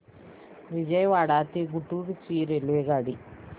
विजयवाडा ते गुंटूर ची रेल्वेगाडी